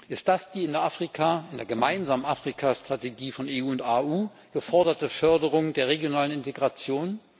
Ist das die in Afrika, in der gemeinsamen Afrikastrategie von EU und AU geforderte Förderung der regionalen Integration?